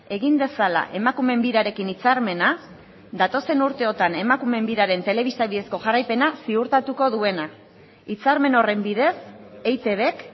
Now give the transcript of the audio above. egin dezala emakumeen birarekin hitzarmena datozen urteotan emakumeen biraren telebista bidezko jarraipena ziurtatuko duena hitzarmen horren bidez eitbk